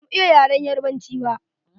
Ba mu iya yaren Yarabanci ba.